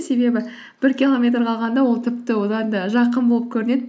себебі бір километр қалғанда ол тіпті одан да жақын болып көрінеді